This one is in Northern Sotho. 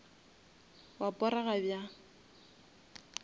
wa porega bjang